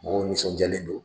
Mɔgɔ nisɔndiyalen don